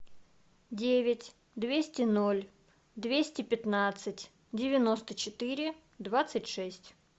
девять двести ноль двести пятнадцать девяносто четыре двадцать шесть